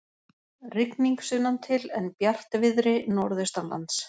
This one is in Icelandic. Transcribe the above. Rigning sunnantil en bjartviðri norðaustanlands